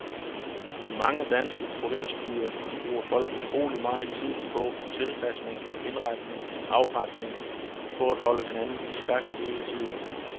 I mange danske provinsbyer bruger folk utrolig megen tid på tilpasning, indretning, afretning, på at holde hinanden i skak hele tiden.